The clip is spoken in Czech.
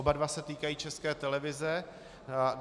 Oba dva se týkají České televize.